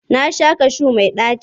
Na sha kashu mai ɗaci.